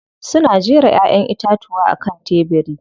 Suna jera Ƴaƴan itatuwa a kan tebiri.